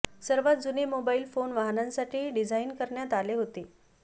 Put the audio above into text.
सर्वात जुने mobile phone वाहनांसाठी डिझाइन करण्यात आले होते